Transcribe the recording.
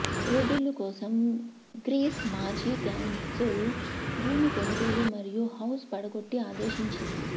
రూబిళ్లు కోసం గ్రీస్ మాజీ కాన్సుల్ భూమి కొనుగోలు మరియు హౌస్ పడగొట్టి ఆదేశించింది